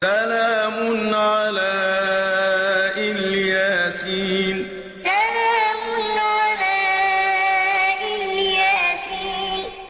سَلَامٌ عَلَىٰ إِلْ يَاسِينَ سَلَامٌ عَلَىٰ إِلْ يَاسِينَ